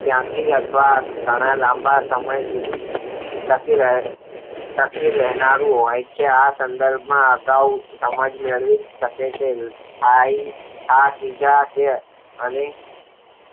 શિક્ષણ ત્યાંથી આપણા ઘણા લાંબા સમય સુધી ટકી લેય સાથે રહેનારું હોય છે આ સંદૃર્ભ માં આપણે અગાઉ સમજ મેળવી શકે છે હાય આ બીજા જ